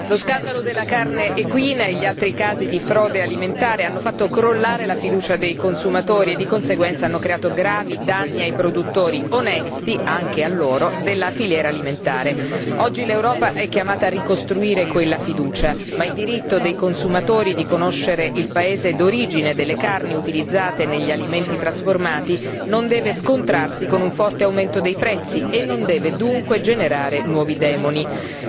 Signor Presidente, onorevoli colleghi, lo scandalo della carne equina e gli altri casi di frode alimentare hanno fatto crollare la fiducia dei consumatori e di conseguenza hanno creato gravi danni anche ai produttori onesti della filiera alimentare. Oggi l'Europa è chiamata a ricostruire quella fiducia, ma il diritto dei consumatori di conoscere il paese d'origine delle carni utilizzate negli alimenti trasformati non deve scontrarsi con un forte aumento dei prezzi e non deve, dunque, generare nuovi demoni.